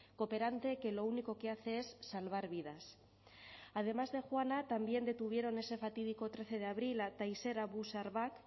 cooperante que lo único que hace es salvar vidas además de juana también detuvieron ese fatídico trece de abril a tayseer abu sharbak